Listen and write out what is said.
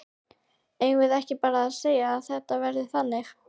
Eigum við ekki bara að segja að þetta verði þannig?